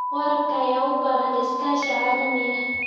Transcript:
Waraabka ayaa u baahan iskaashi caalami ah.